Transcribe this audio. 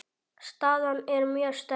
Staðan er mjög sterk.